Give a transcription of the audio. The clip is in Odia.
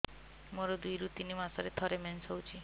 ମୋର ଦୁଇରୁ ତିନି ମାସରେ ଥରେ ମେନ୍ସ ହଉଚି